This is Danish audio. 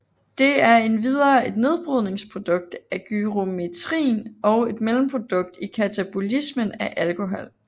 Det er endvidere et nedbrydningsprodukt af gyrometrin og et mellemprodukt i katabolismen af alkohol